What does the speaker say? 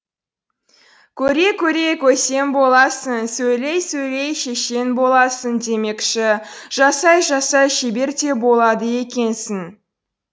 көре көре көсем боласың сөйлей сөйлей шешен боласың демекші жасай жасай шебер де болады екенсің